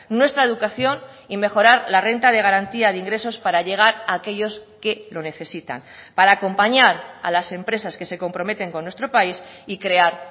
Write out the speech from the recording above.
nuestra educación y mejorar la renta de garantía de ingresos para llegar a aquellos que lo necesitan para acompañar a las empresas que se comprometen con nuestro país y crear